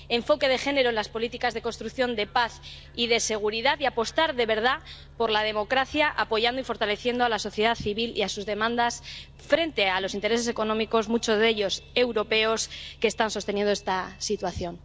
necesitamos enfoque de género en las políticas de construcción de paz y de seguridad, y apostar de verdad por la democracia apoyando y fortaleciendo a la sociedad civil y sus demandas frente a los intereses económicos, muchos de ellos europeos, que están sosteniendo esta situación.